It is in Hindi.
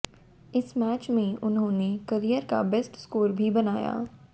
इस मैच में उन्होंने करियर का बेस्ट स्कोर भी बनाया